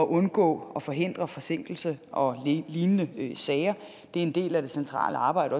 undgå og forhindre forsinkelse og lignende sager det er en del af det centrale arbejde